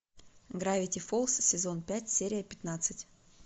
гравити фолз сезон пять серия пятнадцать